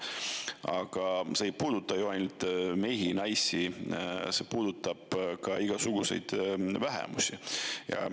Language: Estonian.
Aga see ei puuduta ju ainult mehi ja naisi, see puudutab ka igasugu vähemusi.